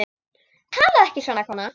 Talaðu ekki svona, kona!